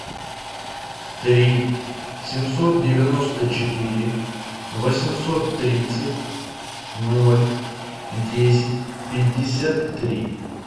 три семьсот девяносто четыре восемьсот тридцать ноль десять пятьдесят три